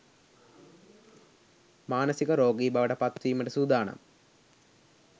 මානසික රෝගි බවට පත්වීමට සූදානම්